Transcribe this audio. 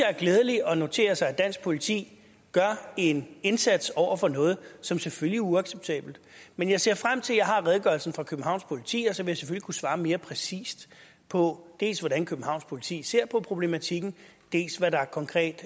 er glædeligt at notere sig at dansk politik gør en indsats over for noget som selvfølgelig er uacceptabelt men jeg ser frem til at jeg har redegørelsen fra københavns politi og så vil jeg selvfølgelig kunne svare mere præcist på dels hvordan københavns politi ser på problematikken dels hvad der konkret